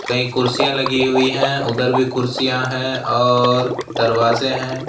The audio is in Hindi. कई कुर्सियां लगी हुई हैं उधर भी कुर्सियां हैं और दरवाजे हैं।